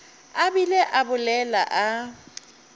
a bile a bolela a